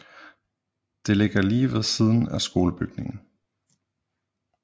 Det ligger lige ved siden af skolebygningen